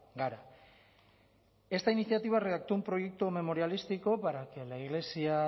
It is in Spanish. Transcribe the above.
gara esta iniciativa redactó un proyecto memorialístico para que la iglesia